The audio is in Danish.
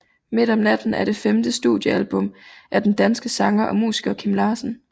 Midt om natten er det femte studiealbum af den danske sanger og musiker Kim Larsen